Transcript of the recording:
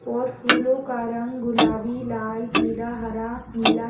और फूलों का रंग गुलाबी लाल पीला हरा नीला--